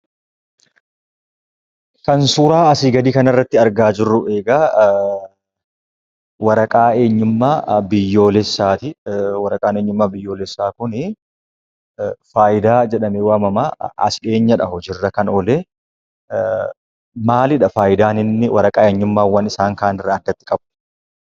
Kan suuraa asii gadii kanarratti argaa jirru egaa waraqaa eenyummaa biyyoolessaati. Waraqaan eenyummaa biyyoolessaa kunii "Fayda" jedhamee waamamaa. As dhiyeenyadha hojiirra kan oole. Maalidha faayidaan inni waraqaa eenyummaawwan isaan kaanirraa addatti qabu?